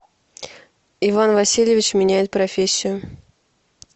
иван васильевич меняет профессию